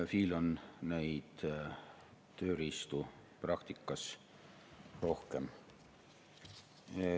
FI‑l on neid tööriistu praktikas rohkem.